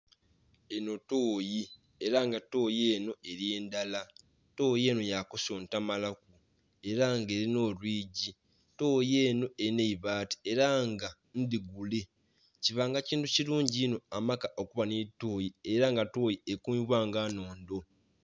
Enho tooyi era nga tooyi enho eri ndhala, tooyi enho ya kusuntamala ku era nga erinha olwigii, tooyi enho elinha eibati era nga ndhigule. Kubanga kintu kilungi inho amaka okuba nho tooyi era nga tooyi ekumibwa nga nhondho.